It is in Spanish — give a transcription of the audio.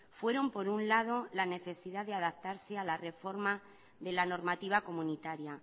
fueron por un lado la necesidad de adaptarse a la reforma de la normativa comunitaria